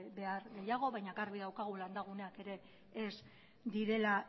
behar gehiago baina garbi daukagu landaguneak ez direla